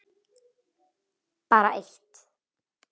Bara eitt